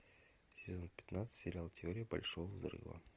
сезон пятнадцать сериал теория большого взрыва